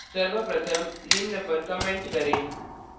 सर्वप्रथम निम्न पर comment करें